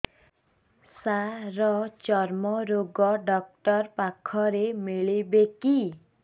ସାର ଚର୍ମରୋଗ ଡକ୍ଟର ପାଖରେ ମିଳିବେ କି